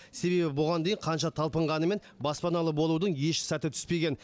себебі бұған дейін қанша талпынғанымен баспаналы болудың еш сәті түспеген